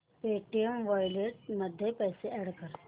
Paytm wallet मध्ये पैसे add कर